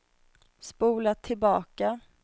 spola tillbaka